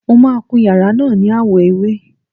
Mo máà ń kun yàrá náà ni àwọ̀ ewé.